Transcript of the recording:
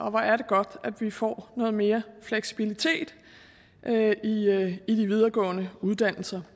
og hvor er det godt at vi får noget mere fleksibilitet i de videregående uddannelser